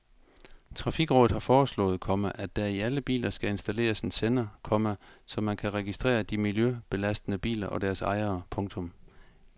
Trafikrådet har foreslået, komma at der i alle biler skal installeres en sender, komma så man kan registrere de miljøbelastende biler og deres ejere. punktum